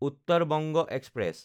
Uttar Banga express